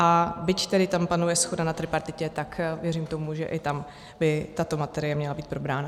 A byť tedy tam panuje shoda na tripartitě, tak věřím tomu, že i tam by tato materie měla být probrána.